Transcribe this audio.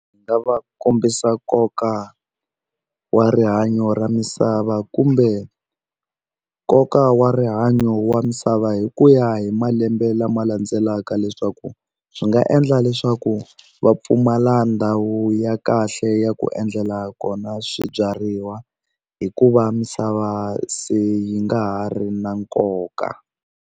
Ndzi nga va kombisa nkoka wa rihanyo ra misava kumbe nkoka wa rihanyo wa misava hi ku ya hi malembe lama landzelaka leswaku swi nga endla leswaku va pfumala ndhawu ya kahle ya ku endlela kona swibyariwa hikuva misava se yi nga ha ri na nkoka.